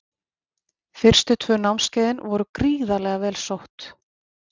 Fyrstu tvö námskeiðin voru gríðarlega vel sótt.